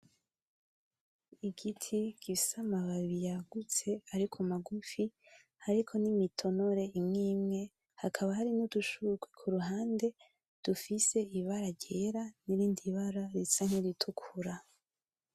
Igiti gifise Amababi yagutse ariko magufi, hariko n'imitonore imwe imwe hakaba harimwo udushurwe kuruhande dufise Ibara ryera, nirindi bara risa niritukura.